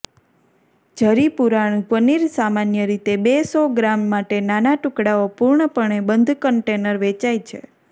જરીપુરાણું પનીર સામાન્ય રીતે બે સો ગ્રામ માટે નાના ટુકડાઓ પૂર્ણપણે બંધ કન્ટેનર વેચાય છે